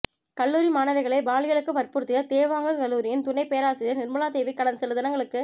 கல்லூரி மாணவிகளை பாலியலுக்கு வற்புறுத்திய தேவாங்க கல்லூரியின் துணை பேராசிரியர் நிர்மலா தேவி கடந்த சில தினங்களுக்கு